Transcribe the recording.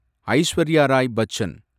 Aishwarya Rai Bachchan